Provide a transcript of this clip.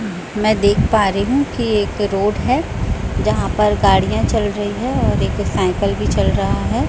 मैं देख पा रही हूं कि एक रोड है जहां पर गाड़ियां चल रही है और एक साइकल भी चल रहा है।